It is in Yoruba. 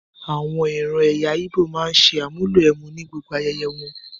Àwọn ìran ẹ̀yà íbò máa ń ṣe àmúlò ẹmu ni gbogbo ayẹyẹ wọn.